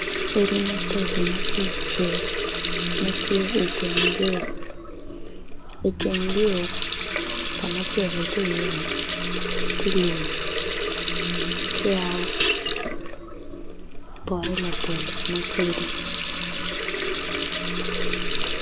Odi mabeco matye i cel matye i teng yo, iteng yo kama celli tye i ye tye lum ki pole labolo matidi.